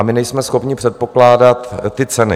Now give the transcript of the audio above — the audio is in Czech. A my nejsme schopni předpokládat ty ceny.